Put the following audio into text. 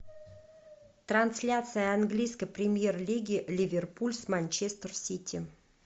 трансляция английской премьер лиги ливерпуль с манчестер сити